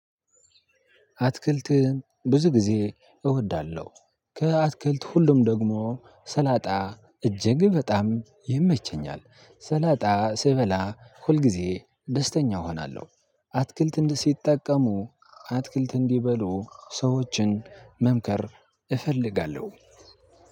አትክልት ብዙ ጊዜ እወዳለሁ። ከአትክልት ሁሉም ደግሞ ሰላጣ እጅግ በጣም ይመቸኛል ሰላጣ ስበላ ሁልጊዜ ደስተኛ እሆናለሁ። አትክልት እንዲጠቀሙ አትክልት እንዲበሉ ሰዎችን መምከር እፈልጋለሁ።